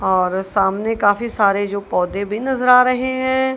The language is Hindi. और सामने काफी सारे जो पौधे भी नजर आ रहे हैं।